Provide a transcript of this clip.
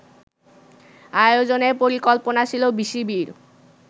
আয়োজনের পরিকল্পনা ছিল বিসিবির